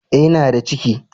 Eh, n'na da ciki!!